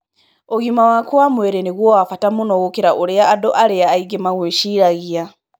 Ũgima waku wa mwĩrĩ nĩguo wa bata mũno gũkĩra ũrĩa andũ arĩa angĩ makwĩciragia.